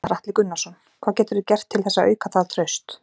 Gunnar Atli Gunnarsson: Hvað geturðu gert til þess að auka það traust?